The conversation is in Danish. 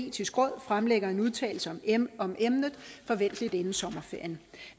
etiske råd fremlægger en udtalelse om emnet forventeligt inden sommerferien